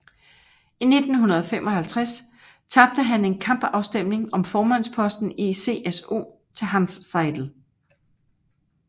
I 1955 tabte han en kampafstemning om formandsposten i CSU til Hanns Seidel